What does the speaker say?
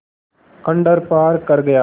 खंडहर पार कर गया